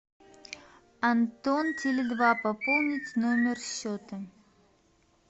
антон теле два пополнить номер счета